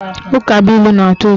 Ukabụilu na-atọ ụtọ